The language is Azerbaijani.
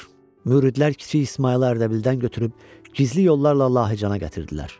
Müridlər kiçik İsmayılı Ərdəbildən götürüb gizli yollarla Lahıcana gətirdilər.